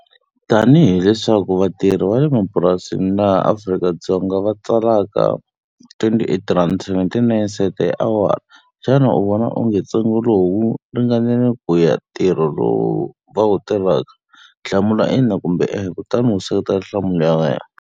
Tanihi leswi vatirhi va le mapurasini laha Afrika-Dzonga va tsalaka twenty-eight rhandi seventy-nine cent hi awara, xana u vona onge ntsengo lowu wu ringanile ku ya hi ntirho lowu va wu tirhaka? Hlamula ina kumbe e-e kutani u seketela nhlamulo ya wena.